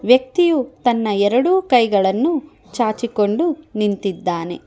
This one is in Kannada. ವ್ಯಕ್ತಿಯು ತನ್ನ ಎರಡು ಕೈಗಳನ್ನು ಚಾಚಿಕೊಂಡು ನಿಂತಿದ್ದಾನೆ.